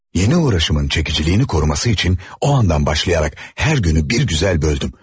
Yenə uğraşımın çəkiciliyini qoruması üçün o andan başlayaraq hər günü bir gözəl böldüm.